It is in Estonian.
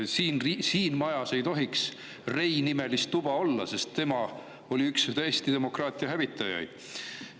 Siin majas ei tohiks Rei-nimelist tuba olla, sest tema oli üks Eesti demokraatia hävitajaid.